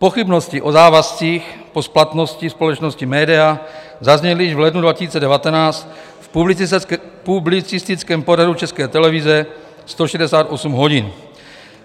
Pochybnosti o závazcích po splatnosti společnosti Médea zazněly již v lednu 2019 v publicistickém pořadu České televize 168 hodin.